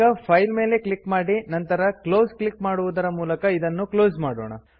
ಈಗ ಫೈಲ್ ಮೇಲೆ ಕ್ಲಿಕ್ ಮಾಡಿ ನಂತರ ಕ್ಲೋಸ್ ಕ್ಲಿಕ್ ಮಾಡುವುದರ ಮೂಲಕ ಇದನ್ನು ಕ್ಲೋಸ್ ಮಾಡೋಣ